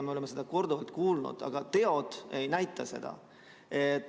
Me oleme seda korduvalt kuulnud, aga teod ei näita seda.